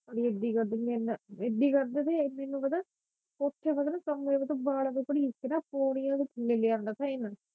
ਅੜੀਏ ਏਦੀ ਕਰਦੇ ਸੀ ਮੇਰੇ ਨਾ ਏਦੀ ਕਰਦੇ ਸੀ ਇਹ ਮੈਨੂੰ ਪਤਾ ਓਸੀ ਵੇਲੇ ਕਮਰੇ ਵਿੱਚੋ ਵਾਲਾ ਤੋਂ ਕਰੀਸ ਕੇ ਨਾ ਪੌੜੀਆਂ ਤੋਂ ਥਲੇ ਲੈ ਆਉਂਦਾ ਸੀ ਇਹਨਾਂ